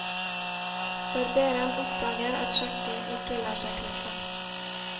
Barberen oppdager at skjegget ikke lar seg klippe.